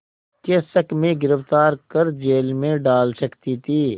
के शक में गिरफ़्तार कर जेल में डाल सकती थी